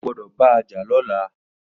Ó gbọdọ bàjà lọ̀lá